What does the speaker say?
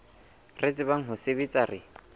re tsebang ho sebetsa re